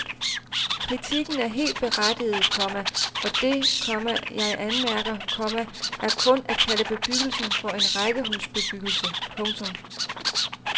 Kritikken er helt berettiget, komma og det, komma jeg anmærker, komma er kun at kalde bebyggelsen for en rækkehusbebyggelse. punktum